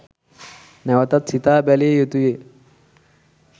නැවතත් සිතා බැලිය යුතුය